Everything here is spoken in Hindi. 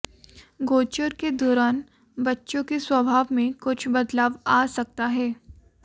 गोचर के दौरान बच्चों के स्वभाव में कुछ बदलाव आ सकता है